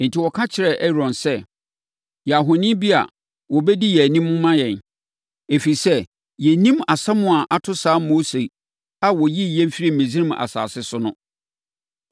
Enti, wɔka kyerɛɛ Aaron, sɛ, ‘Yɛ ahoni bi a wɔbɛdi yɛn anim ma yɛn, ɛfiri sɛ, yɛnnim asɛm a ato saa Mose a ɔyii yɛn firii Misraim asase so no!’